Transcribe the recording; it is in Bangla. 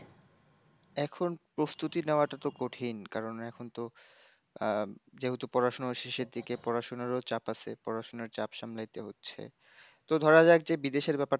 এখন প্রস্তুতি নেওয়াটা তো কঠিন কারণ এখন তো আহ, যেহেতু পড়াশোনার শেষের দিকে পড়াশোনার ও চাপ আছে, পড়াশোনার চাপ সামলাইতে হচ্ছে, তো ধরা যাক যে বিদেশর ব্যাপারটা,